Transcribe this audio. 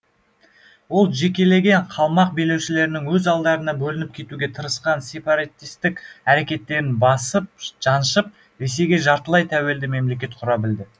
ол жекелеген қалмақ билеушілерінің өз алдарына бөлініп кетуге тырысқан сеператистік әрекеттерін басып жаншып ресейге жартылай тәуелді мемлекет құра білді